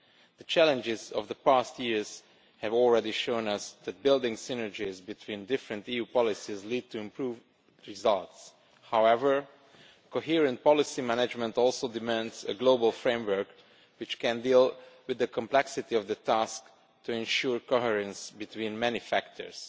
The challenges of the past years have already shown us that building synergies between different EU policies leads to improved results. However, a coherent policy management also demands a global framework which can deal with the complexity of the task, to ensure coherence between many factors